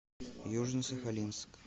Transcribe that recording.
южно сахалинск